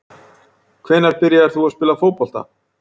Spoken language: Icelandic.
Hvenær byrjaðir þú að spila fótbolta?